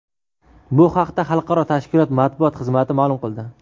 Bu haqda xalqaro tashkilot matbuot xizmati ma’lum qildi .